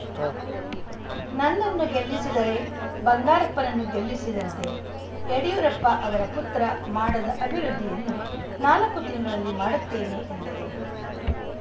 start ನನ್ನನ್ನು ಗೆಲ್ಲಿಸಿದರೆ ಬಂಗಾರಪ್ಪನನ್ನು ಗೆಲ್ಲಿಸಿದಂತೆ ಯಡಿಯೂರಪ್ಪ ಅವರ ಪುತ್ರ ಮಾಡದ ಅಭಿವೃದ್ಧಿಯನ್ನು ನಾಲ್ಕು ತಿಂಗಳಲ್ಲಿ ಮಾಡುತ್ತೇನೆ ಎಂದರು